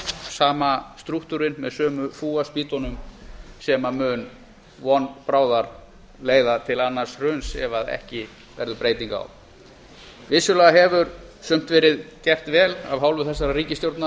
sama strúktúrinn með sömu fúaspýtunum sem mun von bráðar leiða til annars hruns ef ekki verður breyting á vissulega hefur sumt verið gert vel af hálfu þessarar ríkisstjórnar